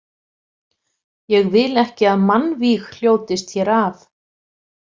Ég vil ekki að mannvíg hljótist hér af.